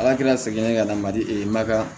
Ala kɛra segin ka na mali ma kan